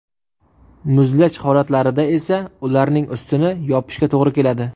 Muzlash holatlarida esa ularning ustini yopishga to‘g‘ri keladi.